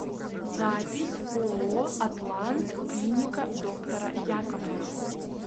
запись ооо атлант клиника доктора яковлева